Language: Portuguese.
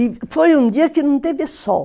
E foi um dia que não teve sol.